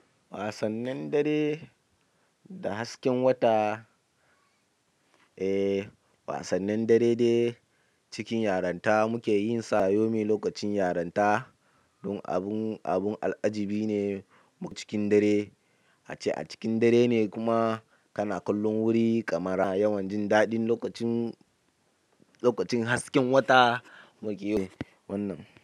Wasannin dare da hasken wata, eh wasannin dare dai cikin yaranta muke yinsa yomi lokacin yaranta. Don abun abun al'ajibi ne cikin dare, a cikin dare ne kuma kana kallon wuri, kamara yawanci daɗin lokacin lokacin hasken wata muke yi wannan.